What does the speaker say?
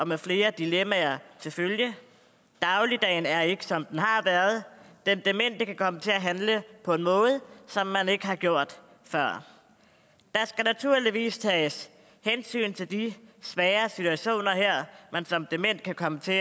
med flere dilemmaer til følge dagligdagen er ikke som den har været den demente kan komme til at handle på en måde som man ikke har gjort før der skal naturligvis tages hensyn til de svære situationer man som dement kan komme til